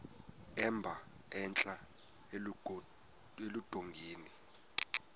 emba entla eludongeni